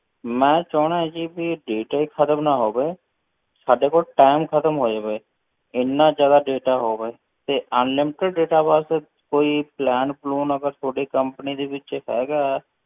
ਮੈਂ ਚਾਹੁੰਦਾ ਹਾਂ ਜੀ ਕਿ ਵੀ data ਹੀ ਖ਼ਤਮ ਨਾ ਹੋਵੇ, ਸਾਡੇ ਕੋਲ time ਖ਼ਤਮ ਹੋ ਜਾਵੇ, ਇੰਨਾ ਜ਼ਿਆਦਾ data ਹੋਵੇ, ਤੇ unlimited data ਵਾਸਤੇ ਕੋਈ plan ਪਲੂਨ ਅਗਰ ਤੁਹਾਡੀ company ਦੇ ਵਿੱਚ ਹੈਗਾ,